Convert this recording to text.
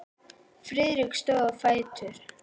Friðrik stóð á fætur.